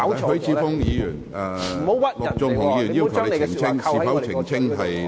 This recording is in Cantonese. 許智峯議員，陸頌雄議員要求你澄清。